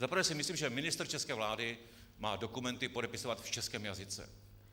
Za prvé si myslím, že ministr české vlády má dokumenty podepisovat v českém jazyce.